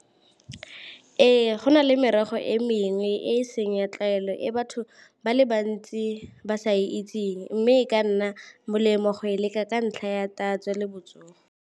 Ee, go na le merogo e mengwe e e seng ya tlwaelo e batho ba le bantsi ba sa e itseng, mme e ka nna molemo go e leka ka ntlha ya tatso le botsogo.